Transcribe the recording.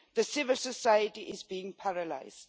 Civil society is being paralysed.